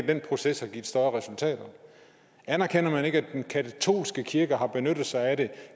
den proces har givet større resultater anerkender man ikke at den katolske kirke har benyttet sig af det